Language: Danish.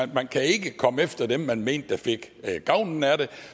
man kan ikke komme efter dem man mente fik gavn af det